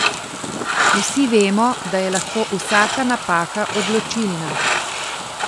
Vsi vemo, da je lahko vsaka napaka odločilna.